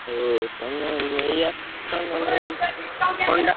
ତମେ ନେଇଆସୁନା ଏଇ Honda ।